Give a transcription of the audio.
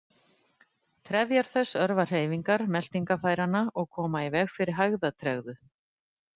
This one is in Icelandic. Trefjar þess örva hreyfingar meltingarfæranna og koma í veg fyrir hægðatregðu.